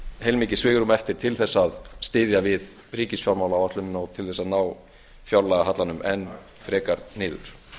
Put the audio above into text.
heilmikið svigrúm eftir til að styðja við ríkisfjármálaáætlunina og til að ná fjárlagahallanum enn frekar niður